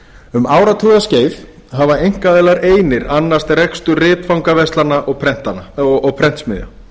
um áratuga skeið hafa einkaaðilar einir annast rekstur ritfangaverslana og prentsmiðja